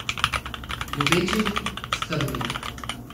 Ljubeči, skrbni.